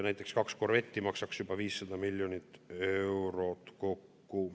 Näiteks kaks korvetti maksaks juba 500 miljonit eurot kokku.